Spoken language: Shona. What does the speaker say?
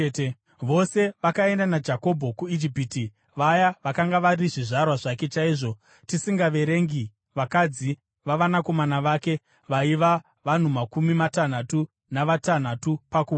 Vose vakaenda naJakobho kuIjipiti, vaya vakanga vari zvizvarwa zvake chaizvo, tisingaverengi vakadzi vavanakomana vake, vaiva vanhu makumi matanhatu navatanhatu pakuwanda.